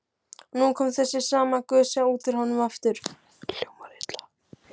Og nú kom þessi sama gusa út úr honum aftur.